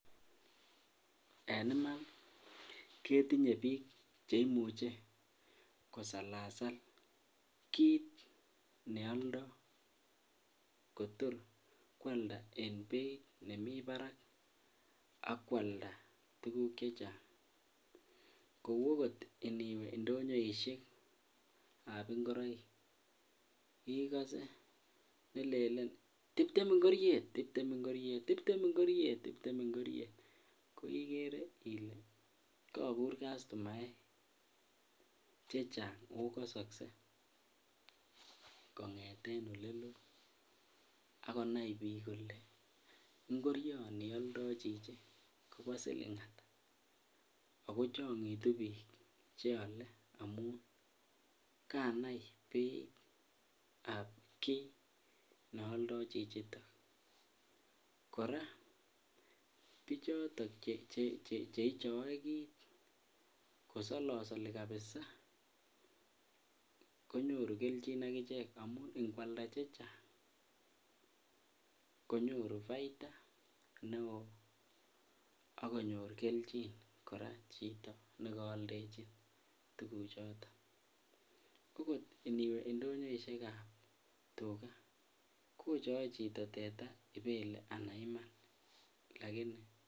En iman ketinye biik cheimuche kosalasal kiit neoldo kotor kwalda en beit nemii barak ak kwalda tukuk chechang, kouu okot indiwe ndonyoishekab ingoroik ikose lelen tibtem ingoriet, tibtem ingoriet, tibtem ingoriet. Ko ikere ilee kokur customaek chechang oo kosokse kongeten olelo ak konai biik kolee ingorioni oldo chichi kobo silingata ak kochongitu biik cheole amun kanai beitab kiit neoldo chichiton, kora bichoton cheichoe biik kosolosoli kabisaa ko nyoru kelchin akichek amun ingwalda tukuk chechang konyoru baita neoo ak konyor kelchin kora chito nekoldechin tukuchoton, ko kot iniwe ndonyoishekab tukaa kochoe chito teta ibele anan iman lakini.